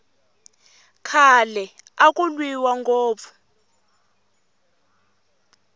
khale aku lwiwa ngopfu